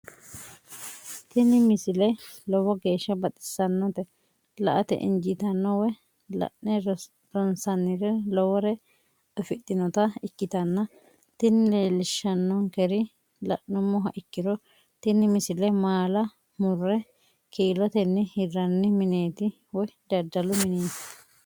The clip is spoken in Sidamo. tini misile lowo geeshsha baxissannote la"ate injiitanno woy la'ne ronsannire lowote afidhinota ikkitanna tini leellishshannonkeri la'nummoha ikkiro tini misile maala murre kiilotenni hirranni mineeti woy daddalu mineeti.